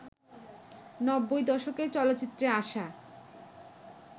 নব্বই দশকে চলচ্চিত্রে আসা